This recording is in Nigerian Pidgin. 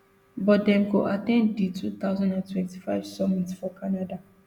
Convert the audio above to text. but dem go at ten d di two thousand and twenty-five summit for canada